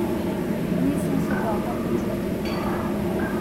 Nisem se dobro počutil.